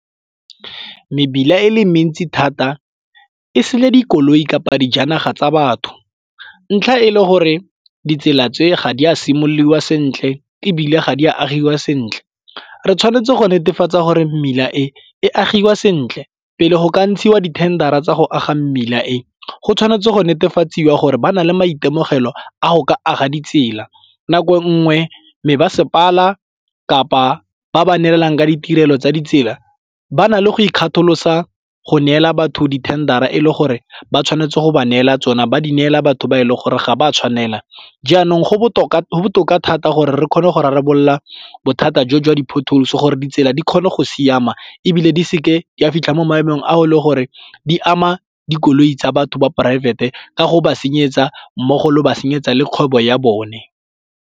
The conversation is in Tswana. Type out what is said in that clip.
Mebila e le mentsi thata e sele dikoloi kapa dijanaga tsa batho ntlha e le gore ditsela tse ga di a simololiwa sentle ebile ga di a agiwa sentle. Re tshwanetse go netefatsa gore mmila e agiwa sentle pele go ka ntshiwa di tender a tsa go aga mmila e, go tshwanetse go netefatswe gore ba na le maitemogelo a go ka aga ditsela. Nako nngwe me masepala kapa ba ba neelanang ka ditirelo tsa ditsela ba na le go ikgatholosa go neela batho di-tender-ra e le gore ba tshwanetse go ba neela tsona ba di neela batho ba e leng gore ga ba tshwanela. Jaanong go botoka thata gore re kgone go rarabolola bothata jo jwa di-potholes gore ditsela di kgone go siama ebile di seke di a fitlha mo maemong ao e le gore di ama dikoloi tsa batho ba poraefete ka go ba senyetsa mmogo le go ba senyetsa le kgwebo ya bone.